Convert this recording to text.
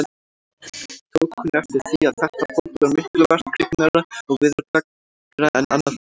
Tók hún eftir því, að þetta fólk var miklu verkhyggnara og veðurgleggra en annað fólk.